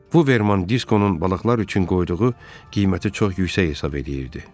Buvverman Diskonun balıqlar üçün qoyduğu qiyməti çox yüksək hesab eləyirdi.